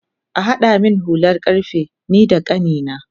Kahada min hulan karfe nida kanina